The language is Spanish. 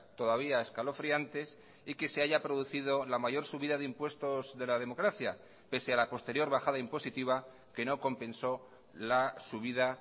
todavía escalofriantes y que se haya producido la mayor subida de impuestos de la democracia pese a la posterior bajada impositiva que no compensó la subida